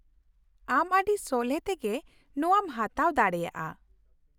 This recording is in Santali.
ᱟᱢ ᱟᱹᱰᱤ ᱥᱚᱞᱦᱮ ᱛᱮᱜᱮ ᱱᱚᱶᱟᱢ ᱦᱟᱛᱟᱣ ᱫᱟᱲᱮᱭᱟᱜᱼᱟ ᱾